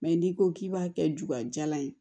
n'i ko k'i b'a kɛ jugajalan ye